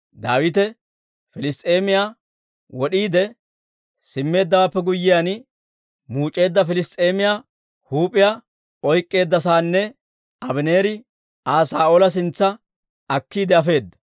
Daawite Piliss's'eemiyaa wod'iide simmeeddawaappe guyyiyaan, muuc'eedda Piliss's'eemiyaa huup'iyaa oyk'k'eedda saanna, Abaneeri Aa Saa'oola sintsa akkiide afeedda.